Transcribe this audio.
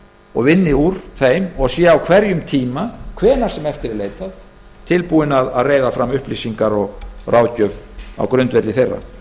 og vinni úr þeim og sé á hverjum tíma hvenær sem eftir er leitað tilbúin að reiða fram upplýsingar og ráðgjöf á grundvelli þeirra ég